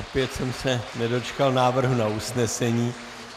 Opět jsem se nedočkal návrhu na usnesení.